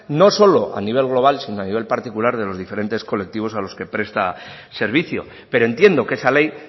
no solo a nivel global sino a nivel particular de los diferentes colectivos a los que presta servicio pero entiendo que esa ley